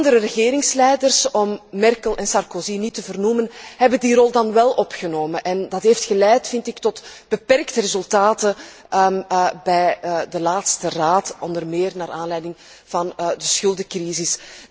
Andere regeringsleiders om Merkel en Sarkozy niet te vernoemen hebben die rol dan wél op zich genomen. Dat heeft geleid, vind ik, tot beperkte resultaten bij de laatste Raad, onder meer naar aanleiding van de schuldencrisis.